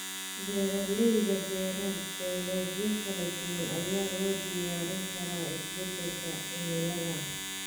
Beeraleyda beera dalagyo kala duwan ayaa loo diyaarin karaa isbedelka cimilada.